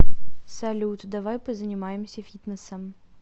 салют давай позанимаемся фитнесом